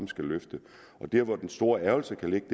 skal løftes og der hvor den store ærgrelse ligger